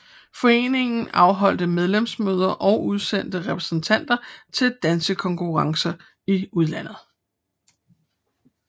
Foreningen afholdte medlemsmøder og udsendte repræsentanter til dansekongresser i udlandet